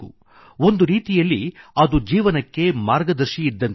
ಒಂದು ರೀತಿಯಲ್ಲಿ ಅದು ಜೀವನಕ್ಕೆ ಮಾರ್ಗದರ್ಶಿಯಿದ್ದಂತಿದೆ